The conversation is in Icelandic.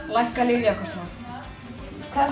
lækka lyfjakostnað hvað